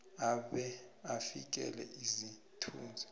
abe avikele isithunzi